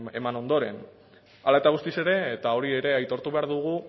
eman ondoren hala eta guztiz ere eta hori ere aitortu behar dugu